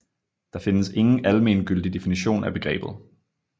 Der findes ingen almengyldig definition af begrebet